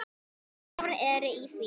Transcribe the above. Gjár eru í því.